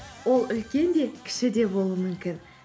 ол үлкен де кіші де болуы мүмкін